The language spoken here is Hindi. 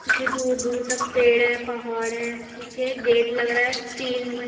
पीछे दूर-दूर तक पेड़ है पहाड़ है पीछे गेट लग रहा है स्टील में --